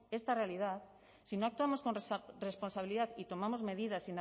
esta realidad si no actuamos con responsabilidad y tomamos medidas